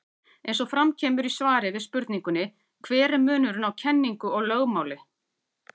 Eins og fram kemur í svari við spurningunni Hver er munurinn á kenningu og lögmáli?